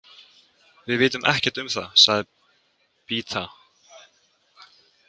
Við vitum ekkert um það, sagði Beata.